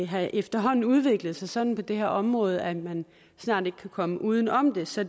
har efterhånden udviklet sig sådan på det her område at man snart ikke kan komme uden om det så